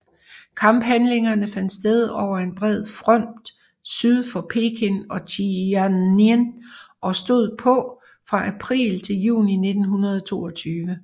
Kamphandlingerne fandt sted over en bred fromt syd for Peking og Tianjin og stod på fra april til juni 1922